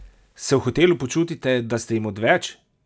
Se v hotelu počutite, da ste jim odveč?